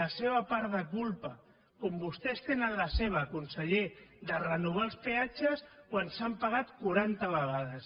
la seva part de culpa com vostès tenen la seva conseller de renovar els peatges quan s’han pagat quaranta vegades